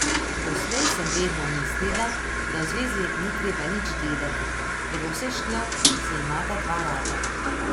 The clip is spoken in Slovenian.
Doslej sem vedno mislila, da v zvezi ni treba nič delati, da bo vse šlo, če se imata dva rada.